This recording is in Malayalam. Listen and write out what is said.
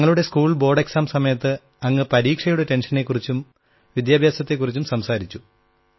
ഞങ്ങളുടെ സ്കൂൾ ബോർഡ് പരീക്ഷാ സമയത്ത് അങ്ങ് പരീക്ഷയുടെ ടെൻഷനെക്കുറിച്ചും വിദ്യാഭ്യാസത്തെക്കുറിച്ചും സംസാരിച്ചു